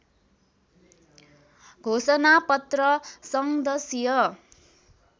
घोषणा पत्र संदशीय